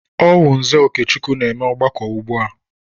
Ọ wụ Nze Okechukwu na-eme ọgbakọ ugbu a.